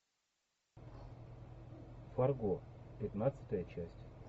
фарго пятнадцатая часть